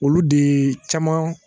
Olu de caman